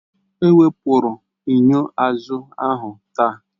Ewepụrụ enyo azụ ahụ taa